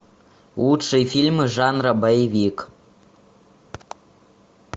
лучшие фильмы жанра боевик